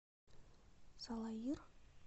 салаир